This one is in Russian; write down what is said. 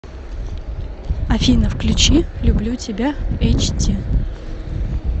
афина включи люблю тебя эйч ди